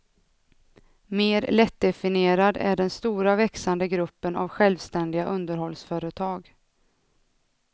Mer lättdefinierad är den stora växande gruppen av självständiga underhållsföretag.